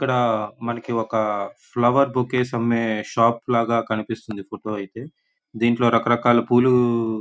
ఇక్కడ మనకి ఒక ఫ్లవర్ బొకేస్ అమ్మే షాప్ లాగా కనిపిస్తుంది ఈ ఫోటో ఐతే దింట్లో రకరకాల పూలు --